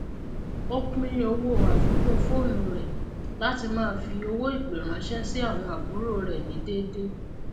ó pín owó àfikún foonù rẹ latí ma fí owó ìpè ránsẹ sí àwon àbúrò rẹ ní déedé